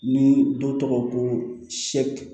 Ni dɔ tɔgɔ ko